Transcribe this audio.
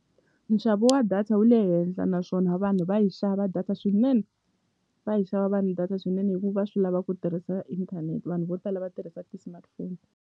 Nxavo wa data wu le henhla naswona vanhu va yi xava data swinene va yi xava vanhu data swinene hi ku va swi lava ku tirhisa inthanete vanhu vo tala va tirhisa ti-smartphone.